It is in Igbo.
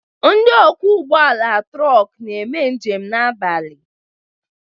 Ndị okwo ụgbọala trok n'eme njem abalị